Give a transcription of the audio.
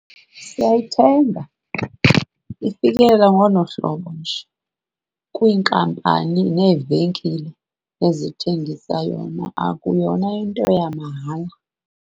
Siyayithenga, ifikela ngolo hlobo nje kwiinkampani neevenkile ezithengisa yona, akuyona into yamahala.